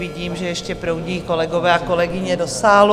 Vidím, že ještě proudí kolegové a kolegyně do sálu.